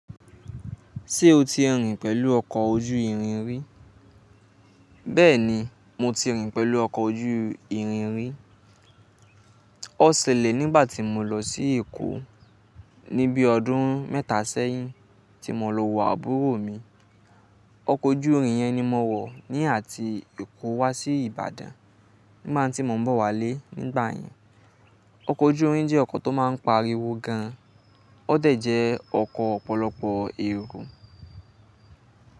Ṣé o ti rìn pẹ̀lú ọkọ̀ ojú ìrìn rí? Bẹ́ẹ̀ni, mo ti rìn pẹ̀lú ọkọ̀ ojú ìrìn rí. Ó ṣẹlẹ̀ nígbàtí mo lọ sí Èkó ní bí ọdún mẹ́ta sẹ́yìn tí mo lọ wọ àbúrò mi. Ọkọ̀ ojú ìrìn yẹn ni mo wọ̀ ní àti Èkó wá sí Ìbàdàn nígbà tí mo ń bọ̀ wálé nígbà yẹn. Ọkọ̀ ojú ìrìn jẹ́ ọkọ̀ tó máa ń pariwo gan, ó dẹ̀ jẹ́ ọkọ̀ ọ̀pọ̀lọpọ̀ èrò.